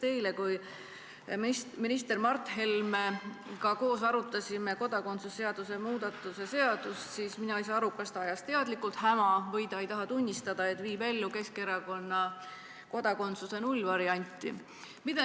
Eile, kui me minister Mart Helmega koos arutasime kodakondsuse seaduse muutmise eelnõu, siis mina ei saanud aru, kas ta ajas teadlikult häma või lihtsalt ei taha tunnistada, et viib ellu Keskerakonna pooldatud kodakondsuse nullvarianti.